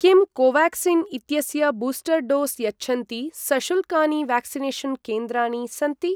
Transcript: किं कोवाक्सिन् इत्यस्य booster dose यच्छन्ति सशुल्कानि व्याक्सिनेषन् केन्द्राणि सन्ति?